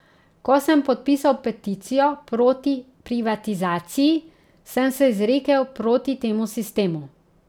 Ko sem podpisal peticijo proti privatizaciji, sem se izrekel proti temu sistemu.